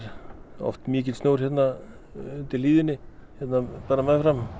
oft mikill snjór undir hlíðinni hérna meðfram